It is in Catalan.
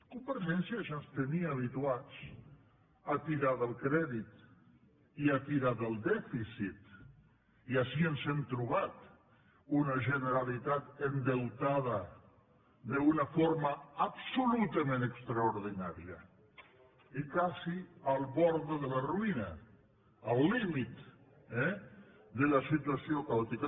convergència ja ens tenia habituats a tirar del crèdit i a tirar del dèficit i així ens hem trobat una generalitat endeutada d’una forma absolutament extraordinària i quasi a la vora de la ruïna al límit eh de la situació caòtica